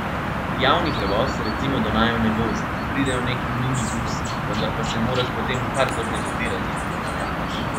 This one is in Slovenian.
Javni prevoz recimo do naju ne vozi, pridejo neki minibusi, vendar pa se moraš potem kar zorganizirati, da ga ujameš.